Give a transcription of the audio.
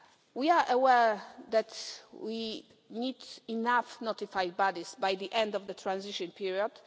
We are aware that we need enough notified bodies by the end of the transition period.